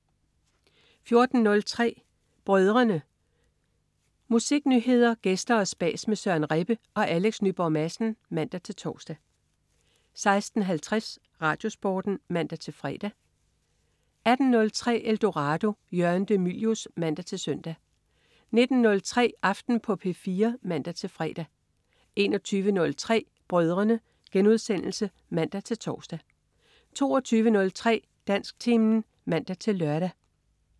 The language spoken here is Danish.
14.03 Brødrene. Musiknyheder, gæster og spas med Søren Rebbe og Alex Nyborg Madsen (man-tors) 16.50 RadioSporten (man-fre) 18.03 Eldorado. Jørgen de Mylius (man-søn) 19.03 Aften på P4 (man-fre) 21.03 Brødrene* (man-tors) 22.03 Dansktimen (man-lør)